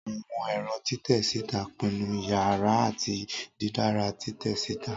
Awọn ẹrọ titẹ sita pinnu iyara ati didara titẹ sita.